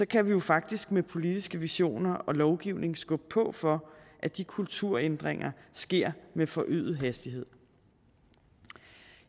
kan vi jo faktisk med politiske visioner og lovgivning skubbe på for at de kulturændringer sker med forøget hastighed